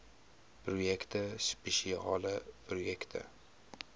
projekte spesiale projekte